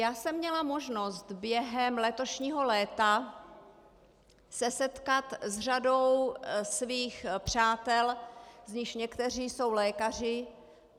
Já jsem měla možnost během letošního léta se setkat s řadou svých přátel, z nichž někteří jsou lékaři.